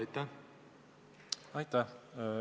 Aitäh!